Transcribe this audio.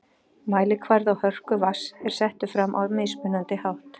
Mælikvarði á hörku vatns er settur fram á mismunandi hátt.